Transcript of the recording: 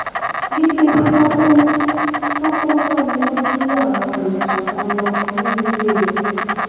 ní kété tó kù tó kù tán ni wọn jí àwọn èròjà kan lọ nínú ilé rẹ